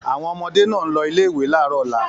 Àwọn ọmọdé náà ń lọ ilé-ìwé láàárọ̀ ọ̀la.